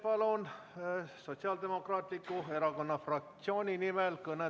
Palun kõnetooli Indrek Saare Sotsiaaldemokraatliku Erakonna fraktsiooni nimel.